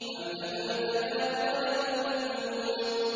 أَمْ لَهُ الْبَنَاتُ وَلَكُمُ الْبَنُونَ